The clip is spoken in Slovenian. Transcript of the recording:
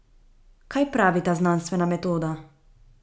Kaj pravi ta znanstvena metoda?